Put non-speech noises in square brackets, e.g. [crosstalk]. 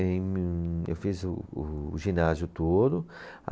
[unintelligible] Em eu fiz o, o ginásio todo.